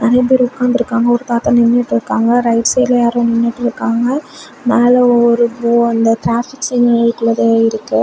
ரெண்டு பேர் ஒக்காந்துருக்காங்க ஒரு தாத்தா நின்னுட்டுருக்காங்க ரைட் சைடுல யாரோ நின்னுட்டுருக்காங்க மேல ஒரு ப்ளூ அந்த டிராபிக் சிக்னல்குள்ளது இருக்கு.